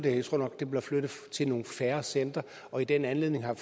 jeg tror nok det bliver flyttet til nogle færre centre og i den anledning har